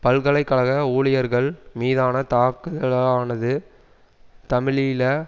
பல்கலை கழக ஊழியர்கள் மீதான தாக்குதலானது தமிழீழ